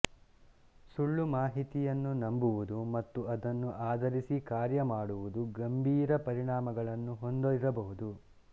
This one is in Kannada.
ಸುಳ್ಳು ಮಾಹಿತಿಯನ್ನು ನಂಬುವುದು ಮತ್ತು ಅದನ್ನು ಆಧರಿಸಿ ಕಾರ್ಯಮಾಡುವುದು ಗಂಭೀರ ಪರಿಣಾಮಗಳನ್ನು ಹೊಂದಿರಬಹುದು